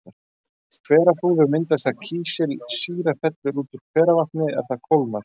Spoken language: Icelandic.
Hverahrúður myndast þegar kísilsýra fellur út úr hveravatni er það kólnar.